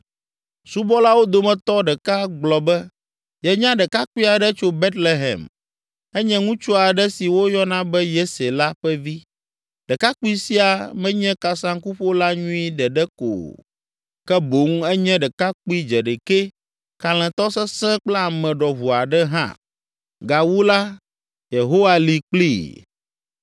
Subɔlawo dometɔ ɖeka gblɔ be yenya ɖekakpui aɖe tso Betlehem, enye ŋutsu aɖe si woyɔna be Yese la ƒe vi. Ɖekakpui sia menye kasaŋkuƒola nyui ɖeɖe ko o, ke boŋ enye ɖekakpui dzeɖekɛ, kalẽtɔ sesẽ kple ame ɖɔʋu aɖe hã. Gawu la, Yehowa li kplii.